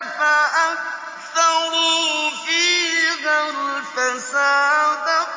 فَأَكْثَرُوا فِيهَا الْفَسَادَ